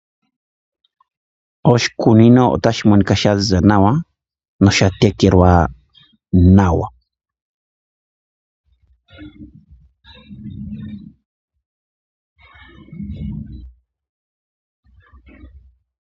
Oshikunino otashi monika sha ziza nawa noshatekelwa nawa.